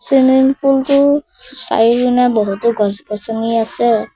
Swimming pool টোৰ চাৰি বহুতো গছ গছনি আছে।